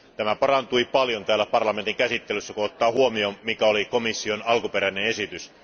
Se parantui paljon täällä parlamentin käsittelyssä, kun ottaa huomioon, mikä oli komission alkuperäinen esitys.